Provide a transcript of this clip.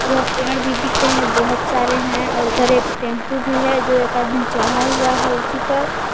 उधर पेड़ भी दिख रहे हैं बहोत सारे हैं और इधर एक टेंपो भी है जो एक आदमी चढ़ा हुआ है उसी पर।